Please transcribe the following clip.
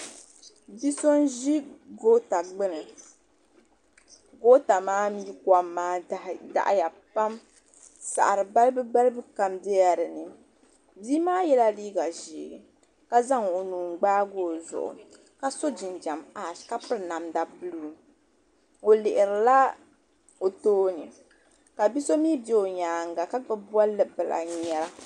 bi' so n-ʒi goota gbuni goota mi kom maa daɣi ya pam saɣiri balibu balibu kam bela din ni bia maa yela liiga ʒee ka zaŋ o nuu n-gbaagi o zuɣu ka sɔ jinjam pak ka piri namda buluu o lihiri la o tooni ka bi' so mi be o nyaaga ka gbubi bɔnli bila n-ŋmɛra.